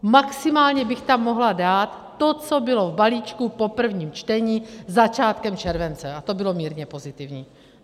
Maximálně bych tam mohla dát to, co bylo v balíčku po prvním čtení začátkem července, a to bylo mírně pozitivní.